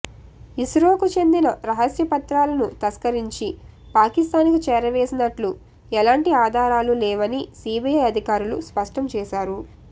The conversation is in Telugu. ఇస్రోకు చెందిన రహస్య పత్రాలను తస్కరించి పాకిస్తాన్కు చేరవేసినట్లు ఎలాంటి ఆధారాలు లేవని సీబీఐ అధికారులు స్పష్టం చేశారు